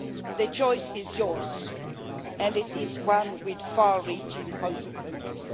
The choice is yours, and it is one with far reaching consequences.